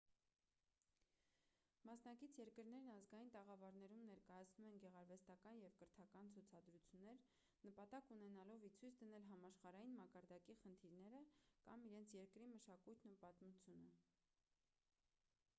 մասնակից երկրներն ազգային տաղավարներում ներկայացնում են գեղարվեստական և կրթական ցուցադրություններ նպատակ ունենալով ի ցույց դնել համաշխարհային մակարդակի խնդիրները կամ իրենց երկրի մշակույթն ու պատմությունը